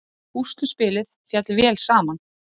Púsluspilið féll vel saman